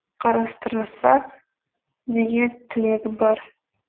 қарастырса деген тілегім бар